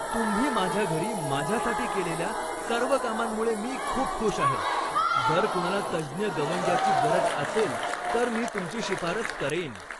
तुम्ही माझ्या घरी माझ्यासाठी केलेल्या सर्व कामांमुळे मी खूप खुश आहे. जर कुणाला तज्ज्ञ गवंड्याची गरज असेल तर मी तुमची शिफारस करेन.